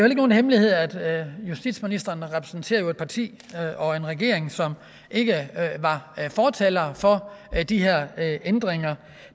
ikke nogen hemmelighed at justitsministeren repræsenterer et parti og en regering som ikke var fortalere for de her ændringer